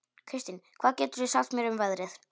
Kristin, hvað geturðu sagt mér um veðrið?